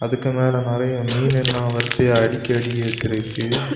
இதுக்கு மேல நறைய மீனெல்லா வரிசையா அடுக்கி அடுக்கி வச்சிருக்கு.